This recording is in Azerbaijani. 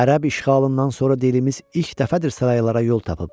Ərəb işğalından sonra dilimiz ilk dəfədir saraylara yol tapıb.